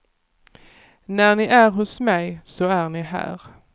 När ni är hos mig, så är ni här.